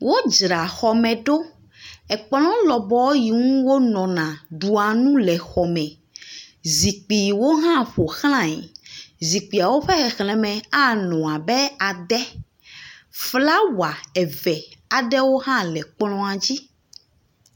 Wodzra xɔme ɖo. Kplɔ̃ lɔbɔ yi ŋu wonɔna ɖua nu le xɔme, zikpuiwo hã ƒo xlãe. Zikpuiawo ƒe xexleme anɔ abe adɛ. Flawa eve aɖewo hã le kplɔ̃a dzi.